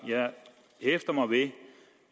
jeg hæfter mig ved